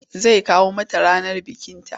Zai kawo mata ranar bikinta.